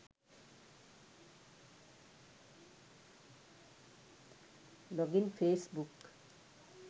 login facebook